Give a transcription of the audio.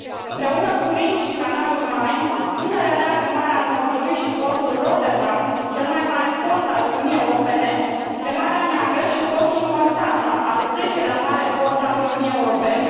Împreună cu Rinul și canalul Main, Dunărea leagă Marea Nordului și portul Rotterdam, cel mai mare port al Uniunii Europene, de Marea Neagră și portul Constanța, al zecelea mare port al Uniunii Europene.